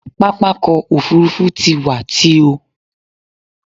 Pápákọ̀ òfurufú ti wà tio.